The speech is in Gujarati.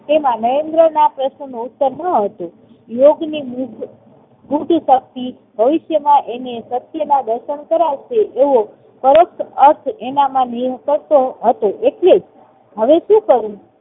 તેમાં નરેન્દ્રના પ્રશ્નનો ઉત્તર ન હતો. યોગની તપથી ભવિષ્યમાં તેને સત્યના દર્શન કરાવશે એવો સરસ એનામાં નીવ કરતો હતો એટલે હવે શું કરવું?